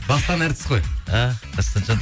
дастан әртіс қой а дастанжан